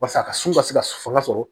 Walasa a ka so ka se ka fanga sɔrɔ